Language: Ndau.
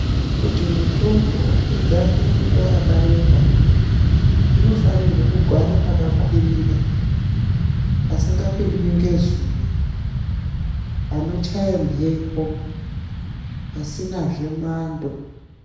Kuti mitombo igare nguwa yakareba, inofanirwe kugare pakakwirira pasinga pindwi ngezuwa, panochaya mhepo, pasinazve mwando.